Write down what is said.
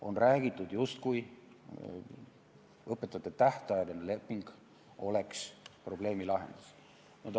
On räägitud, justkui õpetaja tähtajaline leping oleks probleemi lahendus.